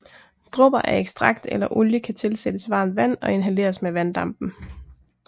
Dråber af ekstrakt eller olie kan tilsættes varmt vand og inhaleres med vanddampen